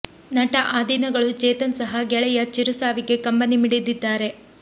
ನಟ ಆದಿನಗಳು ಚೇತನ್ ಸಹ ಗೆಳೆಯ ಚಿರು ಸಾವಿಗೆ ಕಂಬನಿ ಮಿಡಿದಿದ್ದಾರೆ